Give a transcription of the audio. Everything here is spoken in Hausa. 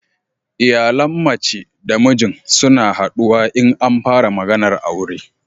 Iyalan mace da mijin suna haduwa in an fara maganar aure